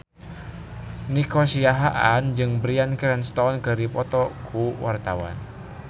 Nico Siahaan jeung Bryan Cranston keur dipoto ku wartawan